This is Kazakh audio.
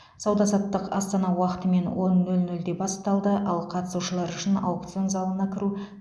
сауда саттық астана уақытымен он нөл нөлде басталды ал қатысушылар үшін аукцион залына кіру